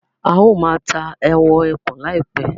A ó máa ta awọ ẹkùn láìpẹ́.